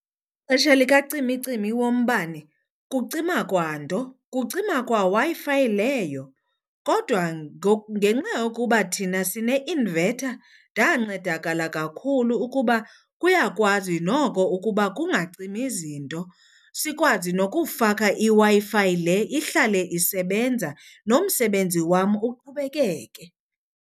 Xesha likacimicimi wombane kucima kwa nto kucima kwa Wi-Fi leyo. Kodwa ngenxa yokuba thina sine-inverter ndancedakala kakhulu ukuba kuyakwazi noko ukuba kungancimi zinto, sikwazi nokufaka iWi-Fi le ihlale isebenza nomsebenzi wam uqhubekeke.